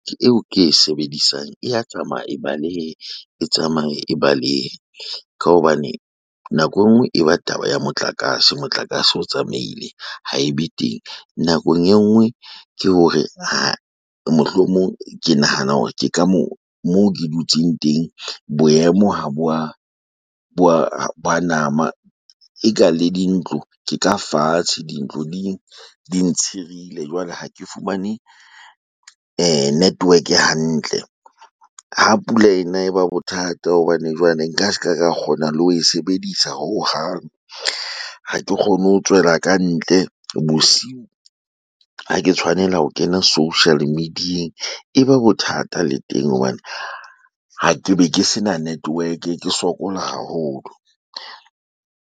Eo ke e sebedisang, e ya tsamaya e baleha. E tsamaya e balehela. Ka hobane nako enngwe e ba taba ya motlakase, motlakase o tsamaile ha e be teng. Nakong e nngwe ke hore mohlomong ke nahana hore ke ka moo mo ke dutseng teng. Boemo ha bo wa ha bo a nama, e ka le dintlo ke ka fatshe dintlo di di ntshirile. Jwale ha ke fumane network hantle. Ha pula e na e ba bothata hobane jwale nka seka ka kgona le ho e sebedisa hohang. Ha ke kgone ho tswela kantle bosiu. Ha ke tshwanela ho kena social media-eng, e ba bothata le teng hobane ha ke be ke sena network ke sokola haholo.